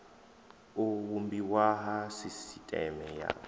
u vhumbiwa ha sisiteme ya